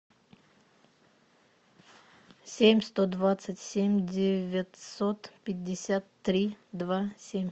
семь сто двадцать семь девятьсот пятьдесят три два семь